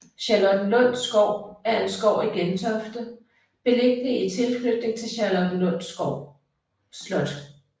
Charlottenlund Skov er en skov i Gentofte beliggende i tilknytning til Charlottenlund Slot